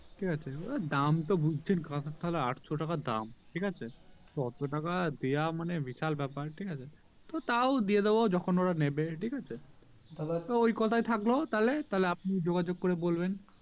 কি আছে দাম তো বুজছেন কাঁসার থালা আটশো টাকা দাম ঠিক আছে অটো টাকা দেওয়া মানে বিশাল ব্যাপার ঠিকাছে তো তও দিয়ে দেবো যখন ওরা নেবে ঠিক আছে ঐ কথায় থাকলো তাহলে আপনি যোগাযোগ করে বলবেন